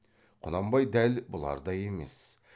құнанбай дәл бұлардай емес